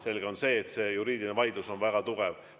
Selge on see, et see juriidiline vaidlus on väga tugev.